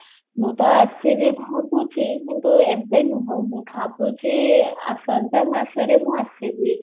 ମୁଁ ତ ଆସିବି ଭାବୁଛି ମୁଁ ତ ଏବେ ନୁହଁ ମୁଁ ଭାବୁଛି ଆସନ୍ତା ମାସରେ ମୁଁ ଆସିବି